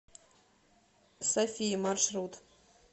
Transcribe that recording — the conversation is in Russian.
сафия маршрут